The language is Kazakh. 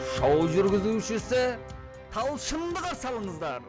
шоу жүргізушісі талшынды қарсы алыңыздар